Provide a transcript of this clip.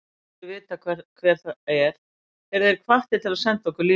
Ef lesendur vita hvert það er, eru þeir hvattir til að senda okkur línu.